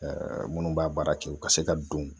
minnu b'a baara kɛ u ka se ka don